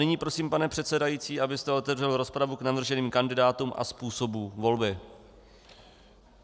Nyní prosím, pane předsedající, abyste otevřel rozpravu k navrženým kandidátům a způsobu volby.